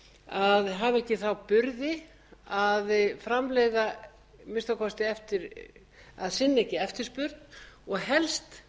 að hafa ekki þá burði að framleiða að minnsta kosti að sinna ekki eftirspurn og helst